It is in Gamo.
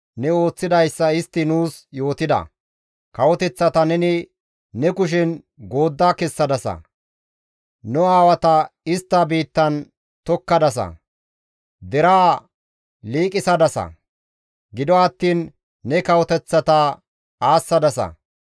Kawoteththata neni ne kushen goodda kessadasa; nu aawata istta biittan tokkadasa; deraa liiqisadasa; gido attiin ne kawoteththata aassadasa.